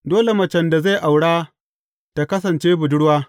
Dole macen da zai aura ta kasance budurwa.